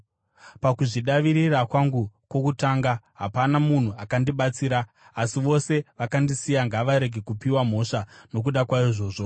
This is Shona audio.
Pakuzvidavirira kwangu kwokutanga, hapana munhu akandibatsira, asi vose vakandisiya. Ngavarege kupiwa mhosva nokuda kwaizvozvo.